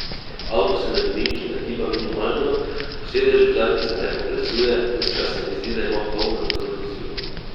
Avto se med ovinki nagiba minimalno, po sedežu zadnjica ne poplesuje, ves čas se mi zdi, da imam poln nadzor nad vozilom.